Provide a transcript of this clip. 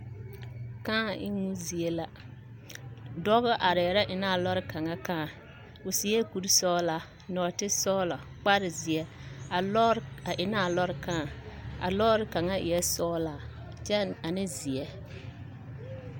Kãã emmo zie la dɔba arɛɛ la eŋnɛ a lɔre kaŋa kãã o seɛ kursɔglaa, nɔɔtesɔgla, kparzeɛ, a lɔɔre a eŋnɛ a lɔɔre kãã a lɔɔre kaŋa eɛ sɔglaa kyɛ ane zeɛ.